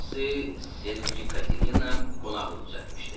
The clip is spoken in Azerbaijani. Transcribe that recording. Lusi Sergi Katelina qonaqlıq düzəltmişdi.